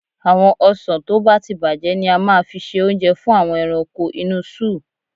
Àwọn ọsàn tó bá ti bàjẹ́ ni a máa fi ṣe oúnjẹ fún àwọn ẹranko inú sóò.